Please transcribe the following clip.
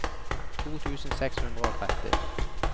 to tusen seks hundre og tretti